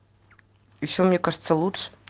ещё мне кажется лучше